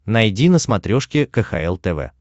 найди на смотрешке кхл тв